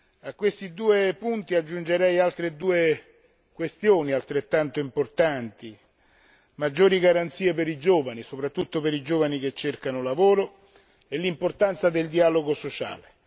A questi due punti aggiungerei altre due questioni altrettanto importanti maggiori garanzie per i giovani, soprattutto per i giovani che cercano lavoro, e l'importanza del dialogo sociale.